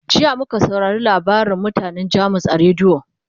jiya muka saurare labarin mutanan jamus a rediyo